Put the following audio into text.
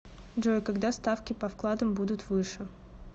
джой когда ставки по вкладам будут выше